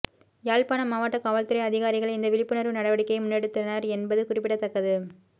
யாழ்ப்பாண மாவட்ட காவல்துறை அதிகாரிகள் இந்த விழிப்புணர்வு நடவடிக்கையை முன்னெடுத்தனர் என்பது குறிப்பிடத்தக்கது